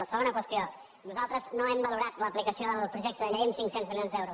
la segona qüestió nosaltres no hem valorat l’aplicació del projecte de llei en cinc cents milions d’euros